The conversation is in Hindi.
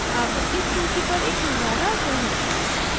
अब इस सूची पर एक निगाह डालते हैं